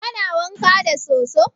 Kana wanka da soso?